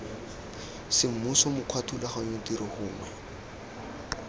semmuso mokgwa thulaganyo tiro gongwe